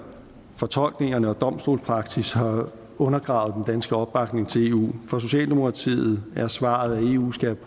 fortolkningerne og domstolspraksis har undergravet den danske opbakning til eu for socialdemokratiet er svaret at eu skal